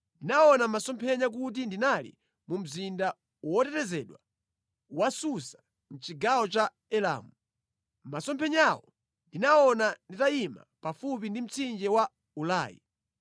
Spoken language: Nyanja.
Ndinaona mʼmasomphenya kuti ndinali mu mzinda wotetezedwa wa Susa mʼchigawo cha Elamu. Mʼmasomphenyawo ndinaona nditayima pafupi ndi mtsinje wa Ulai.